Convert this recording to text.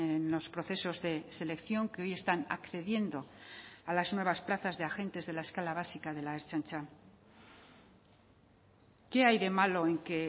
en los procesos de selección que hoy están accediendo a las nuevas plazas de agentes de la escala básica de la ertzaintza qué hay de malo en que